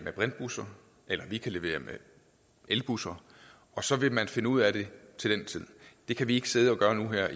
brintbusser eller at de kan levere elbusser og så vil man finde ud af det det kan vi ikke sidde og gøre nu her